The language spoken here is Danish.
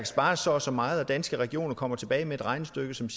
spares så og så meget og danske regioner så kommer tilbage med et regnestykke som